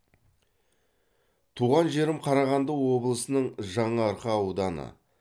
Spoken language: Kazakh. туған жерім қарағанды облысының жаңаарқа ауданы